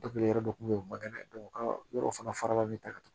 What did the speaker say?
yɔrɔ dɔ kun bɛ ye u man ka kɛnɛ u ka yɔrɔ fana fara bɛ